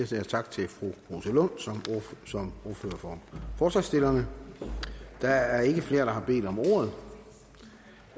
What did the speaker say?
siger tak til fru rosa lund som ordfører for forslagsstillerne der er ikke flere der har bedt om ordet